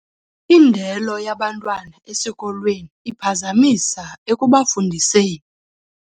Indelo yabantwana esikolweni iphazamisa ekubafundiseni.